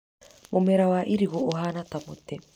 Mũmera wa irigũ ĩhana ta mũti.